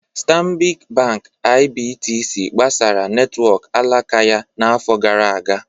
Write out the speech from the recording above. Stanbic Bank IBTC gbasaara netwọk alaka ya n'afọ gara aga.